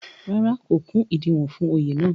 rárá, kò kún ìdiwọ̀n fún Oyè náà